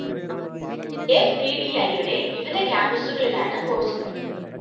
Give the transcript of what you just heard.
എഫ്ഡിഡിഐയുടെ വിവിധ ക്യാമ്പസുകളിലാണ് കോഴ്‌സുകള്‍